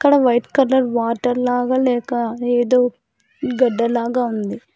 అక్కడ white colour water లాగా లేక ఏదో గడ్డ లాగా ఉంది.